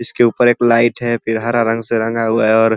इसके ऊपर एक लाइट है फिर हरा रंग से रंगा हुआ है और --